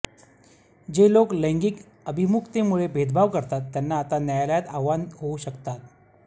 जे लोक लैंगिक अभिमुखतेमुळे भेदभाव करतात त्यांना आता न्यायालयात आव्हान होऊ शकतात